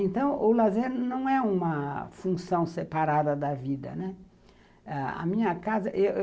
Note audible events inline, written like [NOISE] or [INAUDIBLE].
Então, o lazer não é uma função separada da vida, né. A minha casa [UNINTELLIGIBLE]